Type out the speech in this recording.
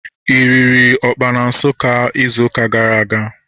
Ị riri ọkpa na Nsukka izu ụka gara aga?